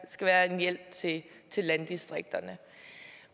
skal være en hjælp til til landdistrikterne